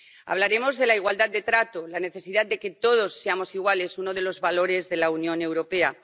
Hablaremos de la igualdad de trato la necesidad de que todos seamos iguales —uno de los valores de la Unión Europea—.